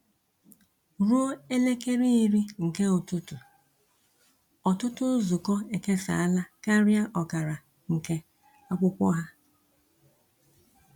Ruo elekere iri nke nke ụtụtụ, ọtụtụ nzukọ ekesala karịa ọkara nke akwụkwọ ha.